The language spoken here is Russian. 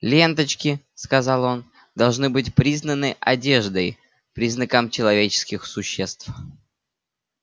ленточки сказал он должны быть признаны одеждой признаком человеческих существ